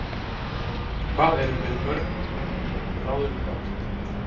Hvað erum við með mörg ráðuneyti, tólf?